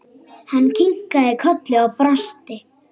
Hann kinkaði kolli og brosti.